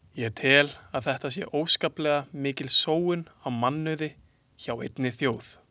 Ég tel að þetta sé óskaplega mikil sóun á mannauði hjá einni þjóð.